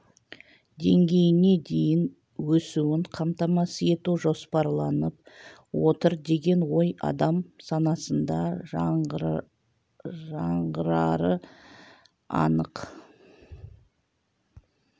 деңгейіне дейін өсуін қамтамасыз ету жоспарланып отыр деген ой адам санасында жаңғырары анық